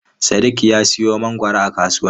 Sadiq ya siyo mangwaro a kasuwa.